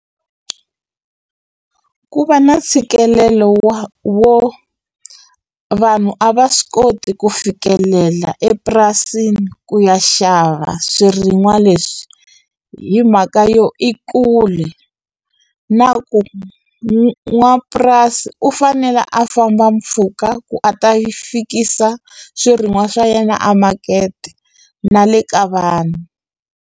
Ku va na ntshikelelo wa wo vanhu a va swi koti ku fikelela epurasini ku ya xava swirin'wa leswi hi mhaka yo i kule na ku n'wamapurasi u fanele a famba mpfhuka ku a ta fikisa swirin'wa swa yena a makete na le ka vanhu.